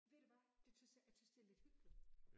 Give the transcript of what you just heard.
Ved du hvad det tys jeg jeg tys det lidt hyggeligt